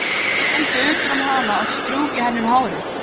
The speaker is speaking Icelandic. Haldi utan um hana og strjúki henni um hárið.